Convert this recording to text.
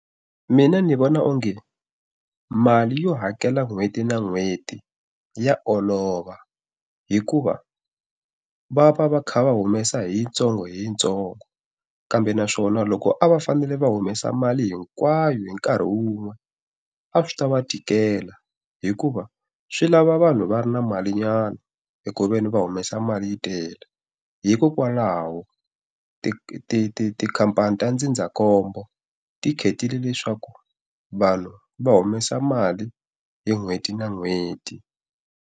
Mina ndzi vona onge mali yo hakela n'hweti na n'hweti ya olova hikuva, va va va kha va humesa hi yintsongo hi yintsongo. Kambe naswona loko a va fanele va humesa mali hinkwayo hi nkarhi wun'we, a swi ta va tikela hikuva swi lava vanhu va ri na malinyana hi ku ve ni va humesa mali yi tele. Hikokwalaho tikhampani ta ndzindzakhombo, ti khetile leswaku vanhu va humesa mali hi n'hweti na n'hweti.